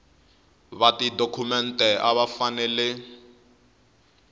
va tidokhumente a va fanele